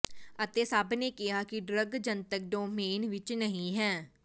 ਅਤੇ ਸਭ ਨੇ ਕਿਹਾ ਕਿ ਡਰੱਗ ਜਨਤਕ ਡੋਮੇਨ ਵਿੱਚ ਨਹੀ ਹੈ